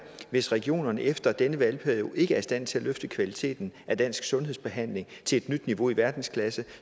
hvis regionerne efter denne valgperiode ikke er i stand til at løfte kvaliteten af dansk sundhedsbehandling til et nyt niveau i verdensklasse